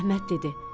Əhməd dedi: